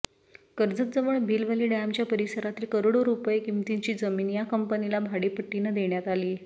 कर्जतजवळ भिलवले डॅमच्या परिसरातली करोडो रुपये किंमतीची जमीन या कंपनीला भाडेपट्टीनं देण्यात आली